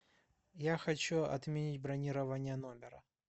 я хочу отменить бронирование номера